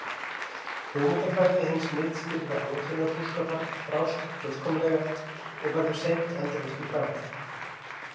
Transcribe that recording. Hugmyndafræði hins miðstýrða áætlanabúskapar brást fullkomlega og verður seint endurreist í bráð.